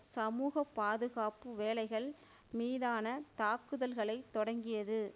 சமூக பாதுகாப்பு வேலைகள் மீதான தாக்குதல்களைத் தொடங்கியது